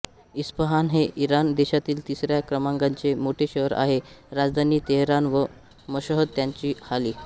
Isfahan हे Iran देशातील तिसऱ्या क्रमांकाचे मोठे शहर आहे राजधानी तेहरान व मशहद ह्यांच्या खाली